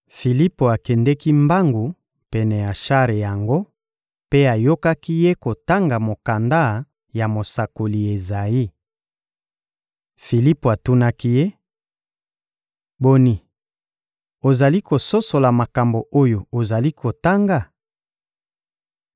Filipo akendeki mbangu pene ya shar yango mpe ayokaki ye kotanga mokanda ya mosakoli Ezayi. Filipo atunaki ye: — Boni, ozali kososola makambo oyo ozali kotanga?